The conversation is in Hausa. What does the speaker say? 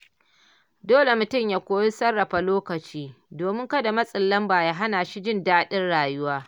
Dole mutum ya koyi sarrafa lokaci, domin kada matsin lamba ya hana shi jin daɗin rayuwa.